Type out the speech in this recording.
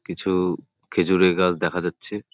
কিছু খেজুর এর গাছ দেখা যাচ্ছে।